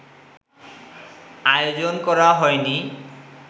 আয়োজন করা হয়নি